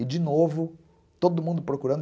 E de novo, todo mundo procurando.